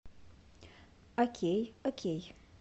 окей окей